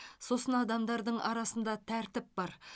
сосын адамдардың арасында тәртіп бар